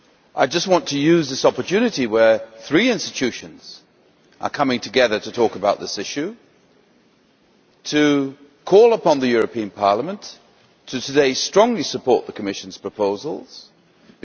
I just want to use this opportunity, when three institutions are coming together to talk about this issue, to call upon the European Parliament to strongly support the Commission's proposals today.